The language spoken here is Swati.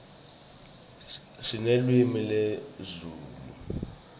sinelulwimi lezulu